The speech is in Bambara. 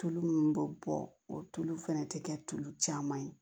Tulu minnu bɛ bɔ o tulu fana tɛ kɛ tulu caman ye